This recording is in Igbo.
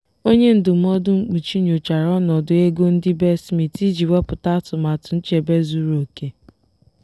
onye ndụmọdụ mkpuchi nyochara ọnọdụ ego ndị be smith iji wepụta atụmatụ nchebe zuru oke.